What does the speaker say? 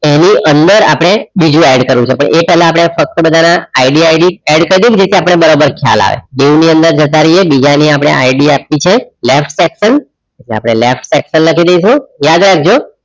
એની અંદર આપણે બીજુ add કરવું છે એ પહેલા આપણે ફક્ત બધાના IDIDadd કરી દઈએ એટલે આપણને બરાબર ખ્યાલ આવે dieu ની અંદર જતા રહીએ design ની આપણે ID આપવી છે left section એટલે left section લખી દઈશું યાદ રાખજો.